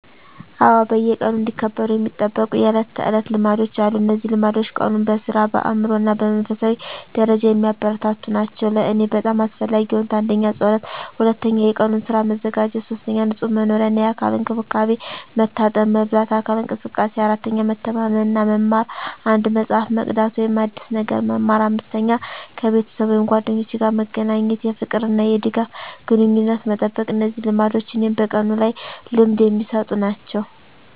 አዎ፣ በየቀኑ እንዲከበሩ የሚጠበቁ የዕለት ተዕለት ልማዶች አሉ። እነዚህ ልማዶች ቀኑን በሥራ፣ በአእምሮ እና በመንፈሳዊ ደረጃ የሚያበረታቱ ናቸው። ለእኔ በጣም አስፈላጊ የሆኑት: 1. ጸሎት 2. የቀኑን ሥራ መዘጋጀት 3. ንጹህ መኖሪያ እና የአካል እንክብካቤ፣ መታጠብ፣ መበላት፣ አካል እንቅስቃሴ። 4. መተማመን እና መማር፣ አንድ መጽሐፍ መቅዳት ወይም አዲስ ነገር መማር። 5. ከቤተሰብ ወይም ጓደኞች ጋር መገናኘት፣ የፍቅር እና የድጋፍ ግንኙነትን መጠበቅ። እነዚህ ልማዶች እኔን በቀኑ ላይ ልምድ የሚሰጡ ናቸው።